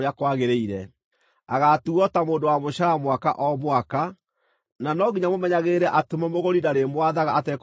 Agaatuuo ta mũndũ wa mũcaara mwaka o mwaka; na no nginya mũmenyagĩrĩre atĩ mũmũgũri ndarĩmwathaga atekũmũiguĩra tha.